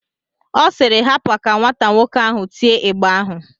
Ọ siiri, hapa ka nwata nwoke ahụ tie ịgba ahụ!